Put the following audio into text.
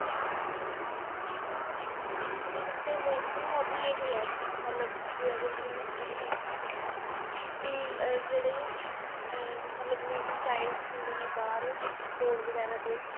ਮੇਰੀ ਵੇਸੇ mostly hobby ਇਹ ਹੈ ਮਤਲਬ ਵੀ ਅਗਰ ਜਦੋ ਮੈਂ free ਹੋਵਾ ਵੀ ਆ ਜਿਹੜੇ ਆ ਮਤਲਬ needy Childs ਹੁੰਦੇ ਨੇ ਬਾਹਰ road ਵਗੈਰਾ ਤੇ